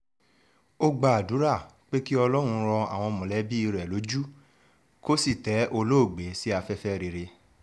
ó gbàdúrà pé kí ọlọ́run rọ àwọn mọ̀lẹ́bí rẹ̀ lójú kó sì tẹ olóògbé sí afẹ́fẹ́ rere